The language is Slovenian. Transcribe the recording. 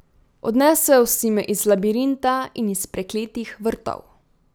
Odnesel si me iz labirinta in iz prekletih vrtov.